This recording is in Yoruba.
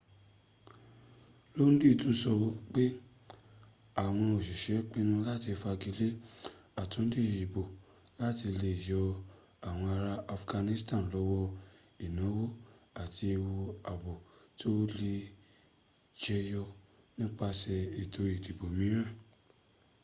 lodin tún sọ pẹ àwọn òsisẹ́ pinu láti fagilé àtúndì ìbò láti le yọ àwọn ará afghanistan lọ́wọ́ ìnáwó àti ewu ààbò tó lè jẹyọ nípasè ètò ìdìbò mìíràn